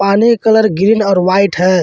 पानी के colour green और वाइट है।